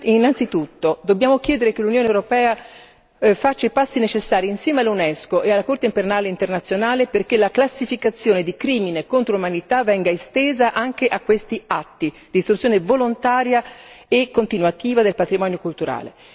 Innanzitutto dobbiamo chiedere che l'Unione europea faccia i passi necessari, insieme all'Unesco e alla Corte penale internazionale, perché la classificazione di crimine contro l'umanità venga estesa anche a questi atti, distruzione volontaria e continuativa del patrimonio culturale.